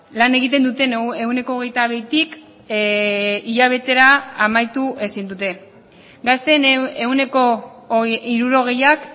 lan egiten duten ehuneko hogeita bitik hilabetera amaitu ezin dute gazteen ehuneko hirurogeiak